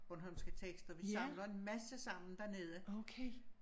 Bornholmske tekster vi samler en masse sammen dernede